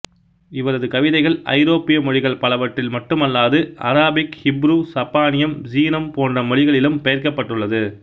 இவரது கவிதைகள் ஐரோப்பிய மொழிகள் பலவற்றில் மட்டுமல்லாது அராபிக் ஹீப்ரு சப்பானியம் சீனம் போன்ற மொழிகளிலும் பெயர்க்கப்பட்டுள்ளது